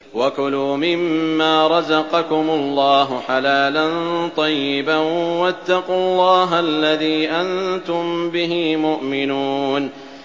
وَكُلُوا مِمَّا رَزَقَكُمُ اللَّهُ حَلَالًا طَيِّبًا ۚ وَاتَّقُوا اللَّهَ الَّذِي أَنتُم بِهِ مُؤْمِنُونَ